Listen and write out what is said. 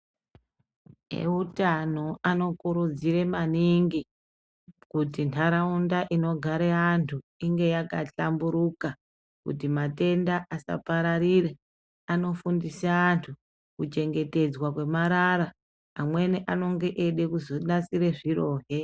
Eutano anokurudzire maningi, kuti nharaunda inogare antu inge yakahlamburuka kuti matenda asapararire, anofundisa antu kuchengetedzwa kwemarara, amweni anonge eide kuzonasire zvirohe.